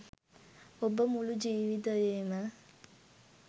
ඔබ මුළු ජීවිතයේම